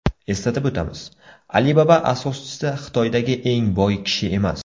Eslatib o‘tamiz, Alibaba asoschisi Xitoydagi eng boy kishi emas.